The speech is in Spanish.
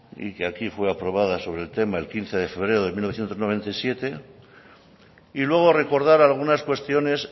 y que aquí fue aprobada sobre el tema el quince de febrero de mil novecientos noventa y siete y luego recordar algunas cuestiones